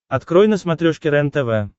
открой на смотрешке рентв